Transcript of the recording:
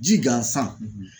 Ji gansan